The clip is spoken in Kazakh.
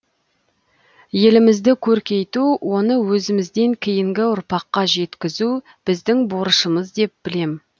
елімізді көркейту оны өзімізден кейінгіұрпаққа жеткізу біздің борышымыз деп білем